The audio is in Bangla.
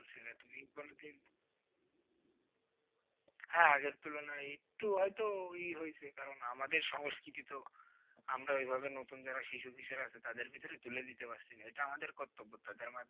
বলছিলে তুমি কোনোদিন হ্যাঁ আগের তুলনায় একটু হয়তো ই হয়েছে কারন আমাদের সংস্কৃতি তো আমরা ওইভাবে নতুন যারা শিশু কিশোর আছে তাদের ভিতরে তুলে দিতে পারছিনা ওটা আমাদের কর্তব্য তাদের মাধ্যমে